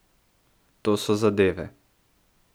To so zadeve!